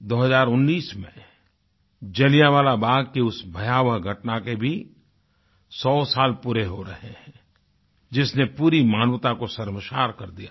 2019 में जलियांवाला बाग़ की उस भयावह घटना के भी 100 साल पूरे हो रहे हैं जिसने पूरी मानवता को शर्मसार कर दिया था